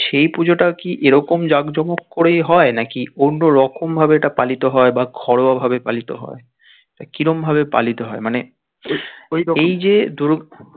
সেই পুজোটাও কি এরকম জাক জমক করেই হয় নাকি অন্য রকম ভাবে এটা পালিত হয় বা ঘরোয়া ভাবে পালিত হয় তা কিরম ভাবে পালিত হয় মানে এই যে ধরুন